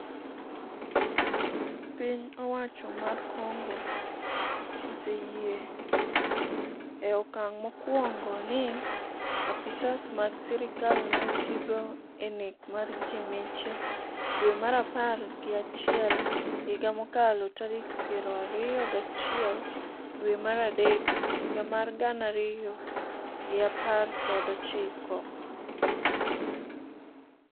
piny owacho mar Congo oseyie e okang' mokwongo ni apisas mag sirkal ne otigo e nek mar ji miche dwe mar apar gi achiel higa mokalo tarik piero ariyo gachiel dwe mar adek higa mar gana ariyo gi apar kod ochiko.